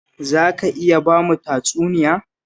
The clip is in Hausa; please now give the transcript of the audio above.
Za ka iya ba mu tatsuniya?